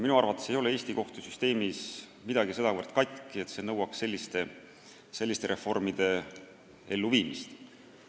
Minu arvates ei ole Eesti kohtusüsteemis midagi sedavõrd katki, et see nõuaks selliste reformide elluviimist.